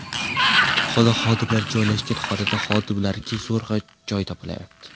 Kutubxona xodimlari joylashgan xonada xodimlarga zo‘rg‘a joy topilyapti.